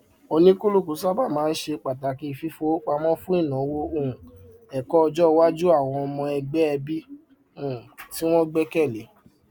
olùtàjà ọlọgbọn ṣe ìdúnàdàá pẹlú igboyà tọka sí àwọn ìṣòwò lórí ayélujára gẹgẹ bí afíwè